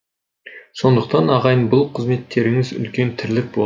сондықтан ағайын бұл қызметтеріңіз үлкен тірлік болды